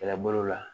Kɛlɛbolo la